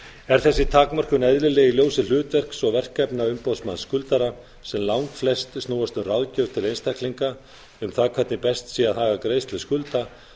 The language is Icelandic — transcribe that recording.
er þessi takmörkun eðlileg í ljósi þess hlutverks og verkefna umboðsmanns skuldara sem langflest snúast um ráðgjöf til einstaklinga um það hvernig best sé að haga greiðslu skulda